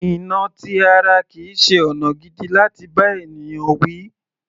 Ìnà ti ara kìí ṣe ọ̀nà gidi láti bá ènìyàn wí.